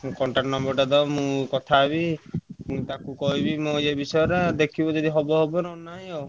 Contact number ଟା ଦବ ମୁଁ କଥା ହେବି ମୁଁ ତାକୁ କହିବି ମୋ ଏ ବିଷୟ ରେ ଦେଖିବି ଯଦି ହବ ହବ ନହେଲେ ନହିଁ ଆଉ।